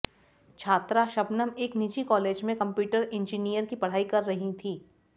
छात्रा शबनम एक निजी कॉलेज में कम्प्यूटर इंजीनियर की पढ़ाई कर रही थी